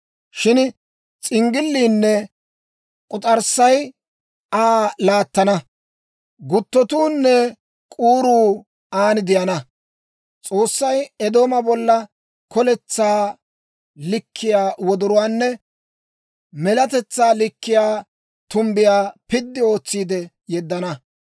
Shin s'inggilliinne k'us'arssay Aa laattana; guttotuunne k'uuruu aan de'ana. S'oossay Eedooma bolla koletsaa likkiyaa wodoruwaanne melatetsaa likkiyaa tumbbiyaa piddi ootsiide yeddana.